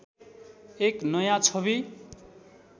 एक नयाँ छवि